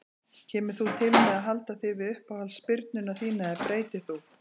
Kemur þú til með að halda þig við uppáhalds spyrnuna þína eða breytir þú?